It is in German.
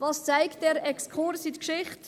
Was zeigt dieser Exkurs in die Geschichte?